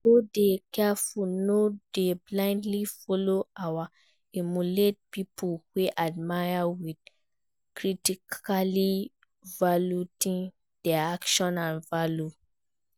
we go dey careful not to blindly follow or emulate people we admire without critically evaluating dia actions and values.